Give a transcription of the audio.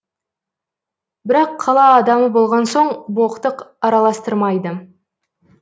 бірақ қала адамы болған соң боқтық араластырмайды